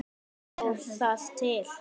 Stóð það til?